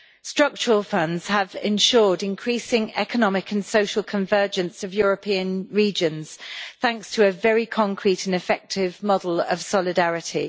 Structural funds have ensured increasing economic and social convergence of European regions, thanks to a very concrete and effective model of solidarity.